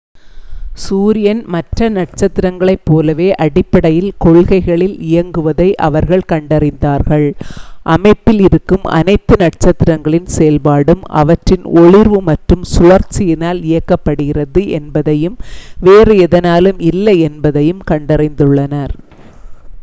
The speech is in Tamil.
சூரியன் மற்ற நட்சத்திரங்களைப் போலவே அடிப்படைக் கொள்கைகளில் இயங்குவதை அவர்கள் கண்டறிந்தார்கள் அமைப்பில் இருக்கும் அனைத்து நட்சத்திரங்களின் செயல்பாடும் அவற்றின் ஒளிர்வு மற்றும் சுழற்சியினால் இயக்கப்படுகிறது என்பதையும் வேறு எதனாலும் இல்லை என்பதையும் கண்டறிந்துள்ளனர்